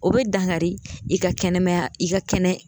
O be dankari i ka kɛnɛmaya i ka kɛnɛ